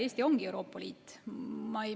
Eesti ongi Euroopa Liit.